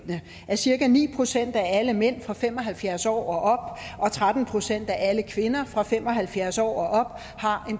at cirka ni procent af alle mænd fra fem og halvfjerds år og op og tretten procent af alle kvinder fra fem og halvfjerds år og op har